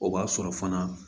O b'a sɔrɔ fana